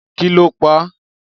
Kì lọ pà?